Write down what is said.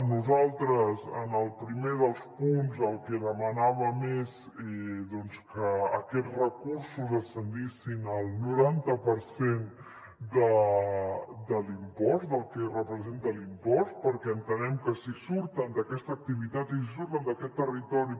nosaltres en el primer dels punts el que demanàvem és doncs que aquests recursos ascendissin al noranta per cent de l’impost del que representa l’impost perquè entenem que si surten d’aquesta activitat i si surten d’aquest territori